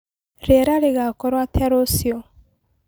Rĩera rĩgakorwo atĩa rũcĩũ